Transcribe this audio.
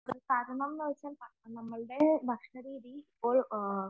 നമ്മുടെ ഭക്ഷണരീതി ഇപ്പോൾ